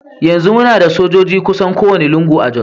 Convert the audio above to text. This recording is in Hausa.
Yanzu muna da sojoji kusan kowane lungu a Jos.